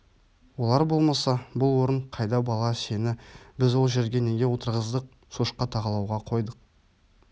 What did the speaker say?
олар болмаса бұл орын қайда бала сені біз ол жерге неге отырғыздық шошқа тағалауға қойдық